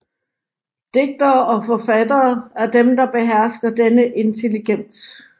Digtere og forfattere er dem der behersker denne intelligens